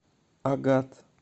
агат